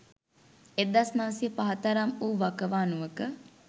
1905 තරම් වූ වකවානුවක